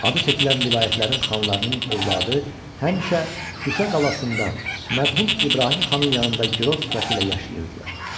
Adı çəkilən vilayətlərin xanlarının övladı həmişə Şuşa qalasında mərhum İbrahim xanın yanında girov sifəti ilə yaşayırdılar.